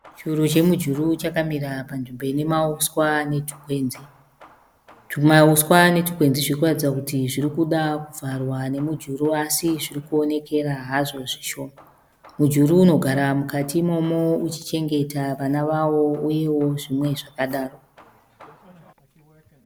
Churu chemujuru chakamira panzvimbo inemauswa netukwenzi. Tumauswa netukwenzi zvirikuratidza kuti zvirikuda kuvharwa nemujuru asi zviri kuonekera hazvo zvishoma. Mujuru unogara mukati uchichengeta vana vawo nezvimwewo zvakadaro.